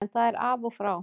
En það er af og frá.